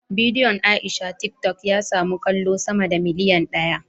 Bidiyon Aisha tiktok ya samu kallo sama da miliyan daya